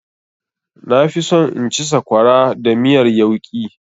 Na fi so in ci sakwara da miyar yauƙi.